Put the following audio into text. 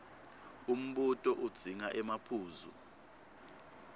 umbuto udzinga emaphuzu